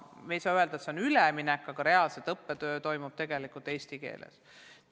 Ma ei saa öelda, et see on üleminek, aga reaalselt toimub õppetöö eesti keeles.